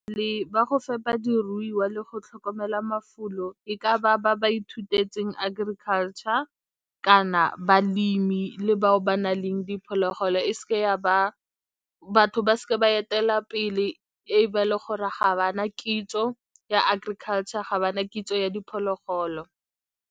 Le ba go fepa diruiwa le go tlhokomela mafulo, e ka ba ba ba ithutetseng agriculture, kana balemi le bao ba na leng diphologolo, e se ke ya ba batho ba se ke ba etelela pele e be e le gore ga ba na kitso ya agriculture, ga ba na kitso ya diphologolo.